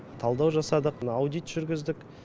талдау жасадық аудит жүргіздік